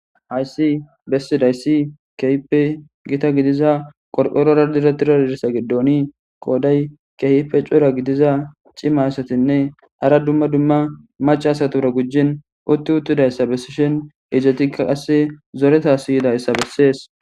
Hayssi bessizayssi keehippe gita gidida qorqoron kexxettidayssa giddonni qooday keehi cora gidiza cima asatinne hara dumma dumma maca astura gujjin utti uuttidayssa bessin haratikka qase zooretas yidayssa besses